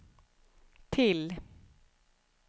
till